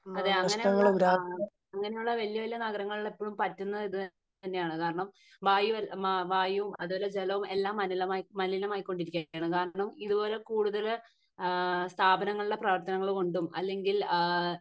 അതെ അങ്ങിനെ ഉള്ള അഹമ് അങ്ങിനെ ഉള്ള വല്യ വല്യ നഗരങ്ങളിൽ എപ്പോഴും പറ്റുന്നത് ഇത് തന്നെയാണ് കാരണം വായു മ വായും അതുപോലെ ജാലോം എല്ലാം മലിനമായി മലിനമായിക്കൊണ്ടിരിക്കേണ് കാരണം ഇതുപോലെ കൂടുതൽ ആഹ് സ്ഥാപനങ്ങളിലെ പ്രവർത്തനങ്ങൾ കൊണ്ടും അല്ലെങ്കിൽ ആഹ്